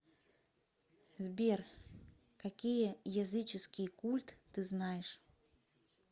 сбер какие языческий культ ты знаешь